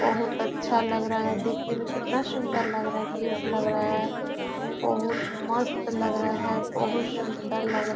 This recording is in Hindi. बहुत अच्छा लग रहा है देखने में कितना सुंदर लग रहा है क्यूट लग रहा है बहुत ही मस्त लग रहा है बहुत ही सुंदर लग रहा है।